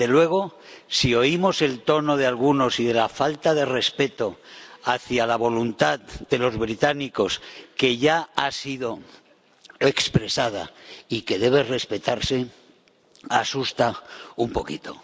Desde luego, si oímos el tono de algunos y la falta de respeto hacia la voluntad de los británicos, que ya ha sido expresada y que debe respetarse, asusta un poquito.